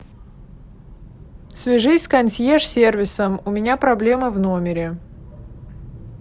свяжись с консьерж сервисом у меня проблема в номере